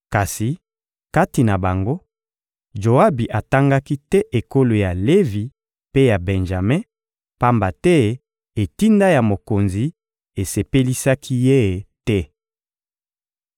Kasi kati na bango, Joabi atangaki te ekolo ya Levi mpe ya Benjame; pamba te etinda ya mokonzi esepelisaki ye te.